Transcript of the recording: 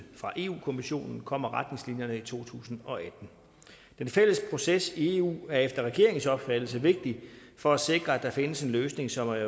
fra europa kommissionen kommer retningslinjerne i to tusind og atten den fælles proces i eu er efter regeringens opfattelse vigtig for at sikre at der findes en løsning som er